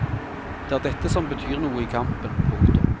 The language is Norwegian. Det er dette som betyr noe i kampen. punktum